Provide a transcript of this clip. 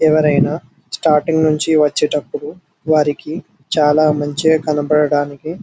ఎవరైనా స్టార్టింగ్ నుంచి వచ్చేటప్పుడు వారికీ చాలా మంచిగా కనబడడానికి--